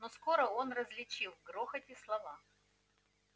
но скоро он различил в грохоте слова